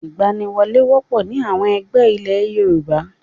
Ìgbaniwọlé wọ́pọ̀ ní àwọn ẹgbẹ́ ilé Yorùbá.